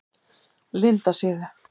Lindasíðu